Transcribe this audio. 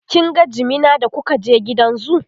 kin ga jimina da kuka je gidan zoo?